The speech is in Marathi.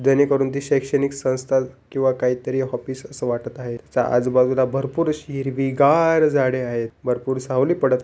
जेणेकरून करून ती शैक्षणिक संस्था किंवा काहीतरी ऑफिस अस वाटत आहे च आजूबाजूला भरपूर अशी हिरवीगार झाडे आहेत भरपूर सावली पडत--